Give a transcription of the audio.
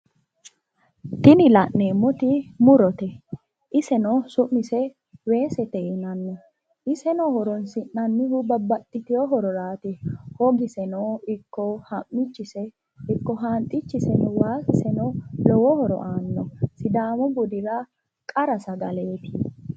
tini lan'emmoti muurote iseno sumiseeno weesete yinanni iseeno horosinannihu babbaxitino hororaat hoggiseno ikko hammichu hanxxichiseeno waasiseno lowo horo aano sidaamu buddira qara sagaleeti